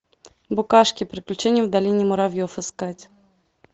букашки приключения в долине муравьев искать